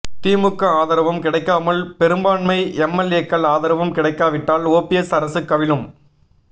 திமுக ஆதரவும் கிடைக்காமல் பெரும்பான்மை எம்எல்ஏக்கள் ஆதரவும் கிடைக்காவிட்டால் ஓபிஎஸ் அரசு கவிழும்